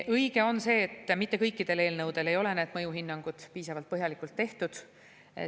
Õige on see, et mitte kõikidel eelnõudel ei ole need mõjuhinnangud piisavalt põhjalikult tehtud.